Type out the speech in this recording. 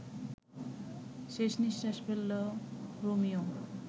শেষ নিশ্বাস ফেলল রোমিও